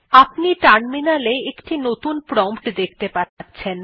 আপনি টার্মিনালে একটি নতুন প্রম্পট দেখতে পাবেন